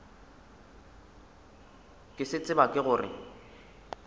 ke se tseba ke gore